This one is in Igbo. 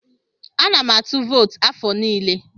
Ana m atụ vootu afọ anọ niile.